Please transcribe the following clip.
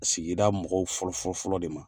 Sigida mɔgɔw fɔlɔfɔlɔfɔlɔ de ma